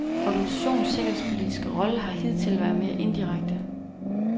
Organisationens sikkerhedspolitiske rolle har hidtil været mere indirekte.